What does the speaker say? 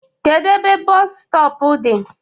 Kedu ebe bọọsu stọpu dị?